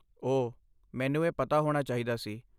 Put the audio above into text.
ਓਹ, ਮੈਨੂੰ ਇਹ ਪਤਾ ਹੋਣਾ ਚਾਹੀਦਾ ਸੀ।